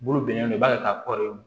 Bolo bilennen don i b'a ka kɔrɔlen